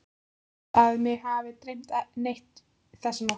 Ég held að mig hafi ekki dreymt neitt þessa nótt.